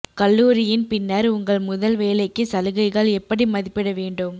கல்லூரியின் பின்னர் உங்கள் முதல் வேலைக்கு சலுகைகள் எப்படி மதிப்பிட வேண்டும்